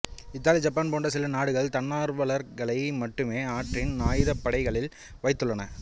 Italy Japan போன்ற சில நாடுகள் தன்னார்வலர்களை மட்டுமே அவற்றின் ஆயுதப் படைகளில் வைத்துள்ளன